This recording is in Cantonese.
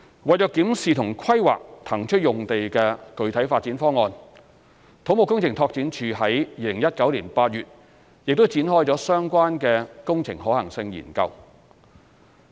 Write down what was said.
為檢視和規劃騰出用地的具體發展方案，土木工程拓展署在2019年8月展開相關的工程可行性研究。